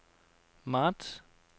marts